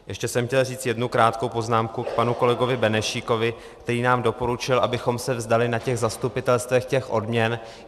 Ještě jsem chtěl říct jednu krátkou poznámku k panu kolegovi Benešíkovi, který nám doporučil, abychom se vzdali na těch zastupitelstvech odměn.